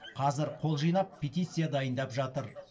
қазір қол жинап петиция дайындап жатыр